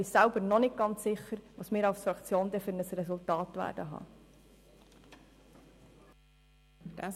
Ich bin selber noch nicht ganz sicher, welches Resultat wir als Fraktion schliesslich haben werden.